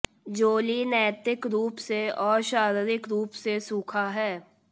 जोली नैतिक रूप से और शारीरिक रूप से सूखा है